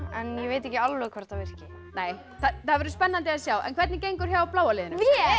en ég veit ekki alveg hvort það virki það verður spennandi að sjá en hvernig gengur hjá bláa liðinu